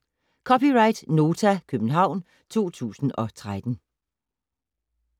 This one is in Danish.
(c) Nota, København 2013